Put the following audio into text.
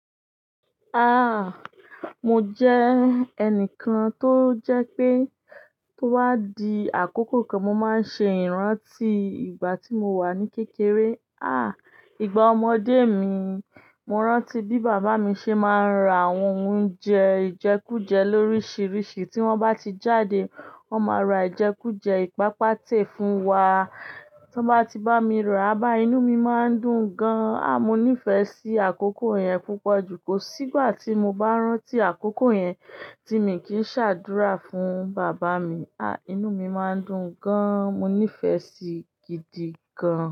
Ah! Mo jẹ́ ẹnìkan tó jẹ́ pé tó bá di àkókò kan mo máa ń ṣe ìrántí ìgbà tí mo wà ní kékeré. Ah! Ìgbà ọmọdé mi, mo rántí bí bàbá mi ṣe máa ń ra àwọn oúnjẹ, ìjẹkújẹ lóríṣiríṣi tí wọ́n bá ti jáde, wọ́n máa ra ìjẹkújẹ ìpápatẹ̀ fún wa. Tí wọ́n bá ti bá mi rà, bá inú mi máa ń dùn gan an. Ah! Mo nífẹ̀ẹ́ sí àkókò yẹn púpọ̀ jù kò sí ìgbà tí mo bá rántí àkókò yẹn tí èmi kì í ṣàdúrà fún bàbá mi. Ah! Inú mi máa ń dùn gan an. Mo nífẹ̀ẹ́ sí gidi gan an.